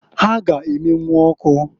Ha ga- emenwu ọkụ.